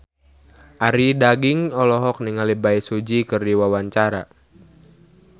Arie Daginks olohok ningali Bae Su Ji keur diwawancara